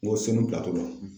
N ko Senu pilatola.